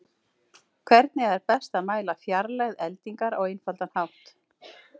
Hvernig er best að mæla fjarlægð eldingar á einfaldan hátt?